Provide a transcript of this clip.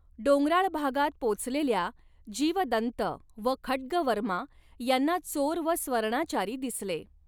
डोंगराळ भागात पोचलेल्या जीवदन्त व खड्गवर्मा यांना चोर व स्वर्णाचारी दिसले.